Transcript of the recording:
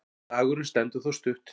Slagurinn stendur þó stutt.